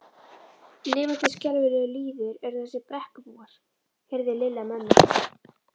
Lifandi skelfilegur lýður eru þessir Brekkubúar. heyrði Lilla mömmu